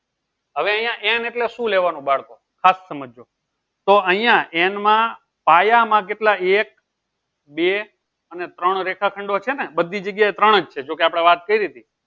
હવે અહિયાં n શું લેવાનું બાળકો ખાસ સમજજો તો અહીંયા n માં પાયામાં કેટલા એક બે અને ત્રણ રેખાખંડો છે ને બધી જગ્યાએ ત્રણ જ છે જો કે આપડે વાત કરીતી